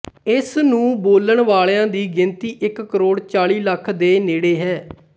ਇਸਨੂੰ ਬੋਲਣ ਵਾਲਿਆਂ ਦੀ ਗਿਣਤੀ ਇੱਕ ਕਰੋੜ ਚਾਲੀ ਲੱਖ ਦੇ ਨੇੜੇ ਹੈ